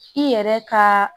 I yɛrɛ ka